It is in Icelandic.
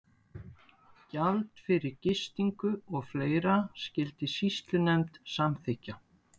Gjald fyrir gistingu og fleira skyldi sýslunefnd samþykkja.